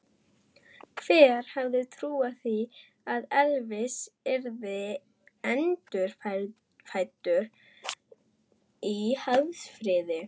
Hver hefði trúað því að Elvis yrði endurfæddur í Hafnarfirði?